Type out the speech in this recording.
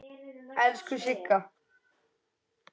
Elsku Sigga.